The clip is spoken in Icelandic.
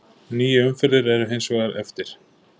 Níu umferðir eru hins vegar eftir.